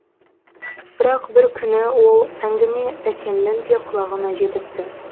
бірақ бір күні ол әңгіме әкемнің де құлағына жетіпті